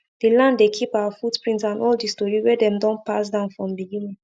the land dey keep our footprint and all the story wey dem don pass down from beginning